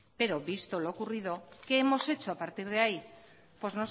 pero visto lo ocurrido qué hemos hecho a partir de ahí pues